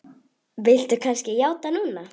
Viltu kannski játa núna?